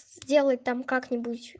сделать там как-нибудь